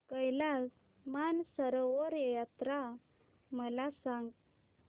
कैलास मानसरोवर यात्रा मला सांग